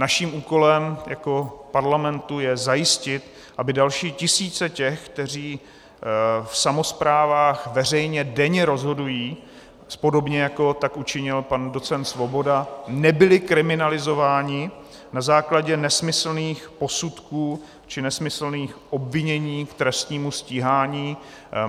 Naším úkolem jako parlamentu je zajistit, aby další tisíce těch, kteří v samosprávách veřejně denně rozhodují, podobně jako tak učinil pan docent Svoboda, nebyli kriminalizováni na základě nesmyslných posudků či nesmyslných obvinění k trestnímu stíhání.